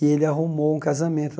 E ele arrumou um casamento.